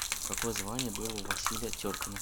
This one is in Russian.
какое звание было у василия теркина